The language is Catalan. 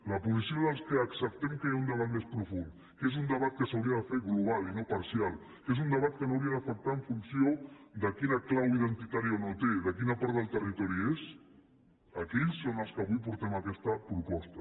la posició dels que acceptem que hi ha un debat més profund que és un debat que s’hauria de fer global i no parcial que és un debat que no hauria d’afectar en funció de quina clau identitària o no té de quina part del territori és la d’aquells és la que avui portem amb aquesta proposta